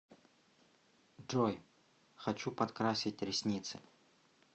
джой хочу подкрасить ресницы